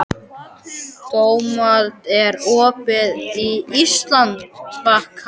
Dómald, er opið í Íslandsbanka?